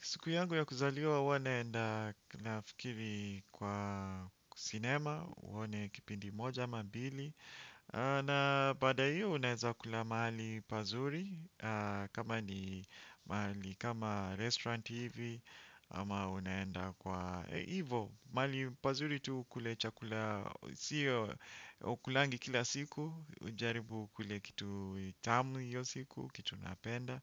Siku yangu ya kuzaliwa huwa naenda nafikiri kwa cinema, uwone kipindi moja ama mbili. Na baada hiyo unaeza kula mahali pazuri kama ni mahali kama restaurant hivi. Ama unaenda kwa ivo, mahali pazuri tu ukule chakula, siyo ukulangi kila siku. Ujaribu ukule kitu tamu hiyo siku, kitu napenda.